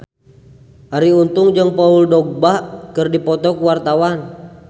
Arie Untung jeung Paul Dogba keur dipoto ku wartawan